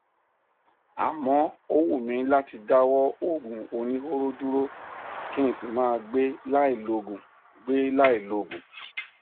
àmọ ó wù mí láti dáwọ òògùn oníhóró dúró kí n sì máa gbé láì lòògùn gbé láì lòògùn